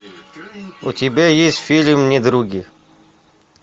у тебя есть фильм недруги